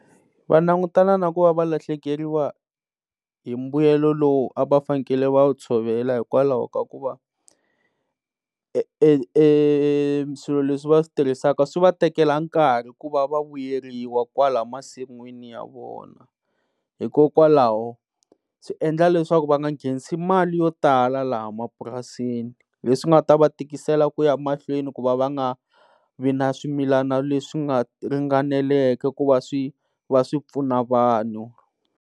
Va langutana na ku va lahlekeriwa hi mbuyelo lowu a va fanele va wu tshovela hikwalaho ka ku va swilo leswi va switirhisaka swi va tekela nkarhi ku va vuyeriwa kwala masinwini ya vona, hikokwalaho swi endla leswaku va nga nghenisi mali yo tala laha mapurasini leswi nga ta va tikisela kuya mahlweni ku va nga vi na swimilana leswi nga ringaneleke ku va swi va swipfuna vanhu.